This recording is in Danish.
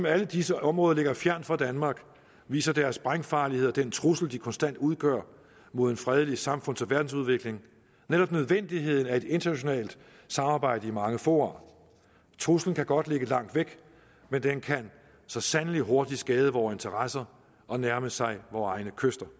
alle disse områder ligger fjernt fra danmark viser deres sprængfarlighed og den trussel de konstant udgør mod en fredelig samfunds og verdensudvikling netop nødvendigheden af et internationalt samarbejde i mange fora truslen kan godt ligge langt væk men den kan så sandelig hurtigt skade vores interesser og nærme sig vore egne kyster